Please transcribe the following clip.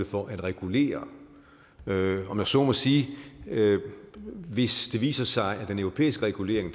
for at regulere om jeg så må sige hvis det viser sig at den europæiske regulering